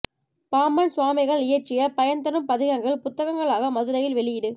பாம்பன் சுவாமிகள் இயற்றிய பயன் தரும் பதிகங்கள் புத்தகங்களாக மதுரையில் வெளியீடு